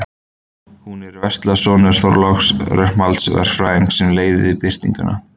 Hún er í vörslu sonar Þorláks, Rögnvalds verkfræðings, sem leyfði birtinguna.